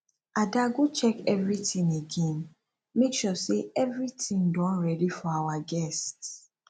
ada go check everything again make sure say everything don ready for our guests